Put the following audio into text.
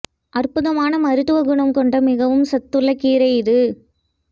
அற்புதமான மருத்தவ குணம் கொண்ட மிகவும் சத்துள்ள கீரை இது